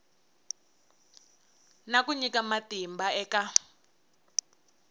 na ku nyika matimba eka